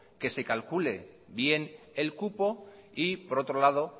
que se calcule bien el cupo y por otro lado